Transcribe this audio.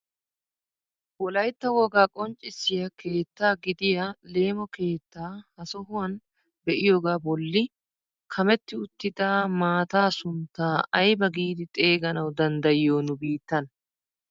Wolaytta wogaa qonccisiyaa keettaa gidiyaa leemo keettaa ha sohuwaan be'iyoogaa bolli kametti uttida maataa sunttaa aybaa giidi xeeganawu danddayiyoo nu biittan?